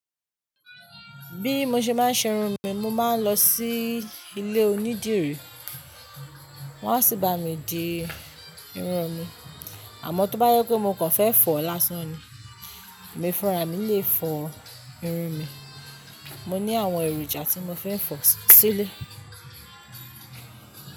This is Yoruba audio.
Bí mo ṣe máa ń ṣe irun mi, mo máa ń lọ sí ilé onídìrí wọ́n á sì bá mi di irun mi. Àmọ́ tó bá jé pé mo kàn fẹ́ fọ̀ lásán ni, emi fúnra mi lè fọ irun mi. Mo ní àwọn èròjà tí mo fẹ́ fọ sílẹ̀